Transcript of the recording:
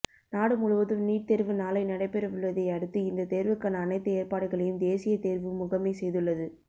நாடு முழுவதும் நீட் தேர்வு நாளை நடைபெறவுள்ளதை அடுத்து இந்த தேர்வுக்கான அனைத்து ஏற்பாடுகளையும் தேசிய தேர்வு முகமை செய்துள்ளது